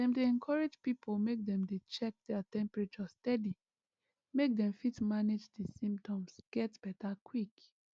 dem dey encourage pipo make dem dey check their temperature steady make dem fit manage di symptoms get beta quick